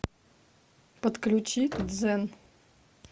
подключи дзен